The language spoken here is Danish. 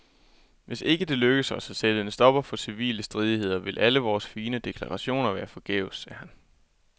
Hvis ikke det lykkes os at sætte en stopper for civile stridigheder, vil alle vores fine deklarationer være forgæves, sagde han.